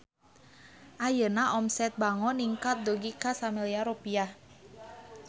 Ayeuna omset Bango ningkat dugi ka 1 miliar rupiah